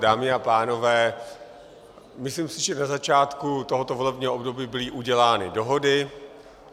Dámy a pánové, myslím si, že na začátku tohoto volebního období byly udělány dohody.